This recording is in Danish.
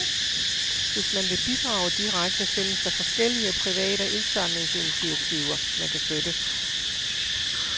Hvis man vil bidrage direkte, findes der forskellige private indsamlingsinitiativer, man kan støtte.